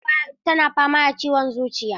Mahaifiyarsa tana fama da ciwon zuciya.